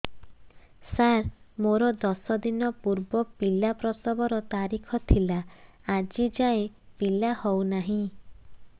ସାର ମୋର ଦଶ ଦିନ ପୂର୍ବ ପିଲା ପ୍ରସଵ ର ତାରିଖ ଥିଲା ଆଜି ଯାଇଁ ପିଲା ହଉ ନାହିଁ